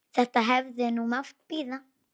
Þetta hefði nú mátt bíða.